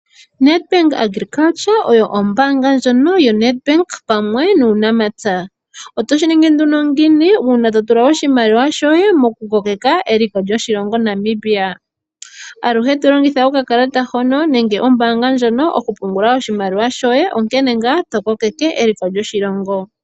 Nedbank agriculture oyo ombaanga ndjono yoNed Bank pamwe nuunamapya, otoshi ningi nduno ngiini uuna totula oshimaliwa shoye mokukoleka eliko lyoshilongo Namibia, aluhe tolongitha oka kalata hono nenge ombaanga ndjono okupungula oshimaliwa shoye onkene ngaa to kokeke eliko lyoshilongo.